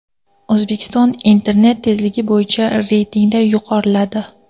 O‘zbekiston internet tezligi bo‘yicha reytingda yuqoriladi.